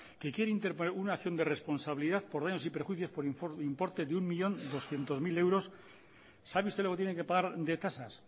que quiere interponer una acción de responsabilidad por daños y perjuicios por importe de un millón doscientos mil euros sabe usted lo que tiene que pagar de tasas